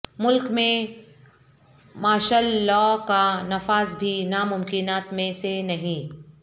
ملک میں martial law کا نفاذ بھی ناممکنات میں سے نہیں